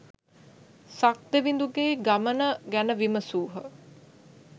සක් දෙවිඳුගේ ගමන ගැන විමසුහ